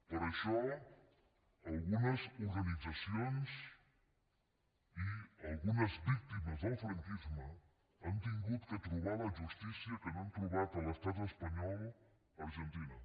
per això algunes organitzacions i algunes víctimes del franquisme han hagut de trobar la justícia que no han trobat a l’estat espanyol a l’argentina